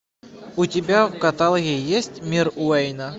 у тебя в каталоге есть мир уэйна